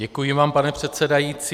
Děkuji vám, pane předsedající.